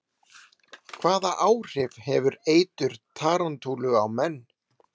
Hvaða áhrif hefur eitur tarantúlu á menn?